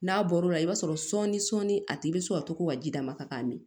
N'a bɔr'o la i b'a sɔrɔ sɔn ni sɔɔni a tigi bɛ sɔn ka to ka ji d'a ma ka min